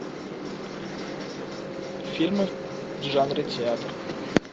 фильмы в жанре театр